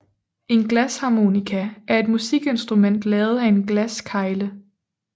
En glasharmonika er et musikinstrument lavet af en glaskegle